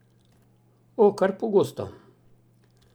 O, kar pogosto!